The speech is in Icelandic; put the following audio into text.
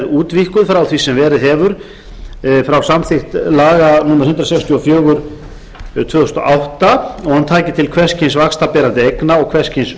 útvíkkuð frá því sem verið hefur frá samþykkt laga númer hundrað sextíu og fjögur tvö þúsund og átta og að hún taki til hvers kyns vaxtaberandi eigna og hvers kyns